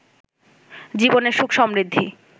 জীবনের সুখ সমৃদ্ধি